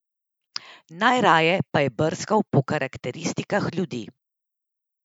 Najraje pa je brskal po karakteristikah ljudi!